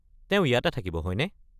তেওঁ ইয়াতে থাকিব, হয়নে?